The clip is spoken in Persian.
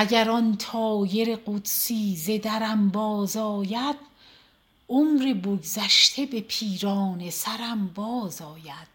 اگر آن طایر قدسی ز درم بازآید عمر بگذشته به پیرانه سرم بازآید